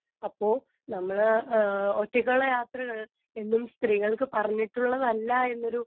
speaker 2 അപ്പൊ നമ്മള് ഒറ്റക്കുള്ള യാത്രകള് എന്നും സ്ത്രീകൾക്ക് പറഞ്ഞിട്ടുള്ളതല്ല എന്നൊരു